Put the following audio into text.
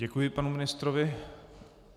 Děkuji panu ministrovi.